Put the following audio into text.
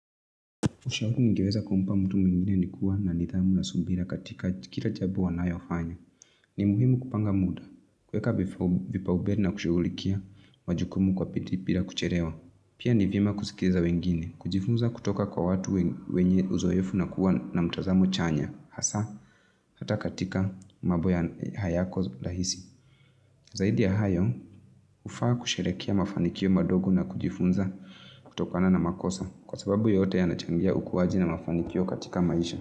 Ushauri ningeweza kumpa mtu mwingine ni kuwa na nidhamu na subira katika kila jambo wanayofanya. Ni muhimu kupanga muda, kuweka vipaumbele na kushughulikia majukumu kwa bidii bila kuchelewa. Pia ni vyema kusikiza wengine, kujifunza kutoka kwa watu wenye uzoefu na kuwa na mtazamo chanya, hasa hata katika mambo hayako rahisi. Zaidi ya hayo, hufaa kusherehekea mafanikio madogo na kujifunza kutokana na makosa kwa sababu yote yanachangia ukuaji na mafanikio katika maisha.